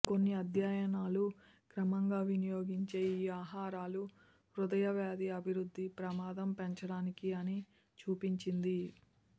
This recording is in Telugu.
కొన్ని అధ్యయనాలు క్రమంగా వినియోగించే ఈ ఆహారాలు హృదయ వ్యాధి అభివృద్ధి ప్రమాదం పెంచడానికి అని చూపించింది